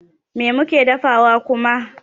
Me muke dafawa kuma?